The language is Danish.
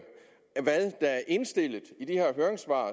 indstillet i de her høringssvar